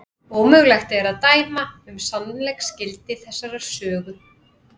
Ómögulegt er að dæma um sannleiksgildi þessarar sögu.